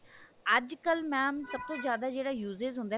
ਅੱਜ ਕਲ mam ਸਭ ਤੋਂ ਜਿਆਦਾ ਜਿਹੜਾ usage ਹੁੰਦਾ